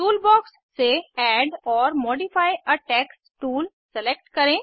toolbox से add or modify a text tool select करें